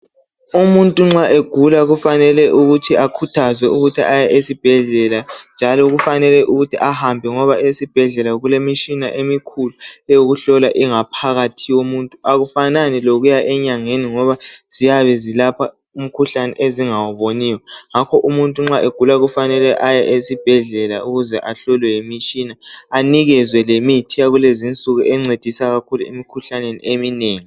Umuntu nxa egula kufanele ukuthi akhuthazwe ukuthi akuya eesibhedlela njalo kufanele ukuthi ahambe ngoba esibhedlela kulemitshina emikhulu eyokuhlola ingaphakathi yomuntu akufanani lokuya enyangeni ngoba ziyabezilapha umkhuhlane ezingawuboniyo ngakho umuntu nxa egula kufanele aye esibhedlela ukuze ahlolwe yimitshina anikezwe lemithi yakulezinsuku encedisa kakhulu emikhuhlaneni eminengi